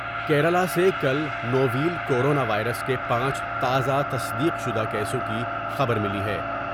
کیرلہ سے کل novel corona virus کے پانچ تازہ تصدیق شدہ کیسوں کی خبر ملی ہے ۔